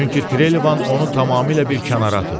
Çünki Trelevan onu tamamilə bir kənara atıb.